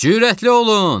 Cürətli olun!